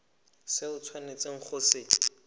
se o tshwanetseng go se